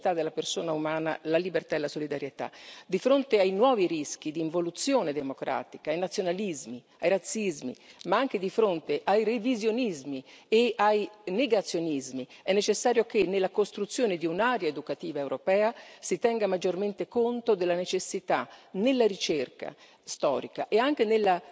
Di fronte ai nuovi rischi di involuzione democratica, ai nazionalismi, ai razzismi, ma anche di fronte ai revisionismi e ai negazionismi, è necessario che, nella costruzione di un'area educativa europea, si tenga maggiormente conto della necessità, nella ricerca storica e anche nella metodologia condivisa, dell'insegnamento